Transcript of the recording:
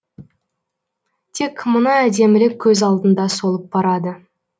тек мына әдемілік көз алдында солып барады